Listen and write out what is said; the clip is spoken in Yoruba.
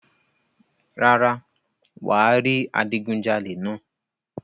rárá, wà á rí adigunjalè náà.